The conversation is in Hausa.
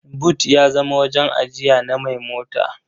But ya zama wajen ajiya na mai mota.